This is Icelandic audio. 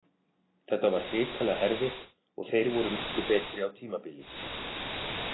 Þetta var hrikalega erfitt og þeir voru miklu betri á tímabili.